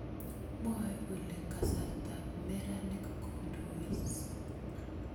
Mwae kole kasartap meranik kondois.